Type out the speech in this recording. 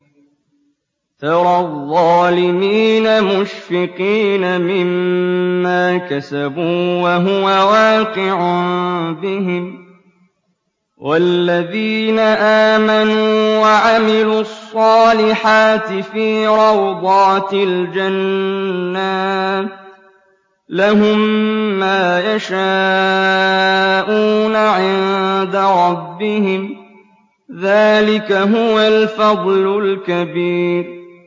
تَرَى الظَّالِمِينَ مُشْفِقِينَ مِمَّا كَسَبُوا وَهُوَ وَاقِعٌ بِهِمْ ۗ وَالَّذِينَ آمَنُوا وَعَمِلُوا الصَّالِحَاتِ فِي رَوْضَاتِ الْجَنَّاتِ ۖ لَهُم مَّا يَشَاءُونَ عِندَ رَبِّهِمْ ۚ ذَٰلِكَ هُوَ الْفَضْلُ الْكَبِيرُ